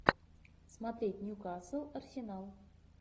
смотреть ньюкасл арсенал